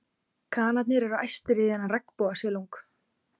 Kanarnir eru æstir í þennan regnbogasilung.